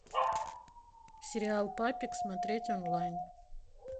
сериал папик смотреть онлайн